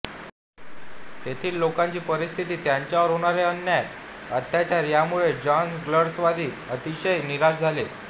तेथील लोकांची परिस्थिती त्यांच्यावर होणारे अन्याय अत्याचार यामुळे जॉन गॉल्सवर्दी अतिशय निराश झाले